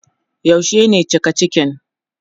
Yaushe ne cika cikin?